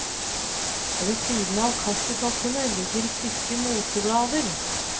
Ved siden av kaffekoppene ligger tykke moteblader.